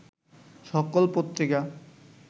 সকল পত্রিকা